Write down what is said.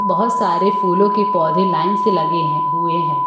बोहोत सारे फूलों के पौधे लाइन से लगे हैं हुए हैं।